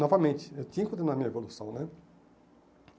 Novamente, eu tinha que continuar a minha evolução, né?